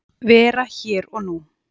Vera hér og nú.